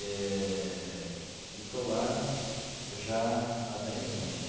Eh e estou lá já há dez anos.